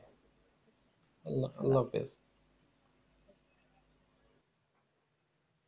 আল্লা আল্লা হাফিজ